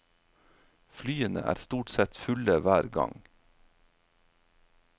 Flyene er stort sett fulle hver gang.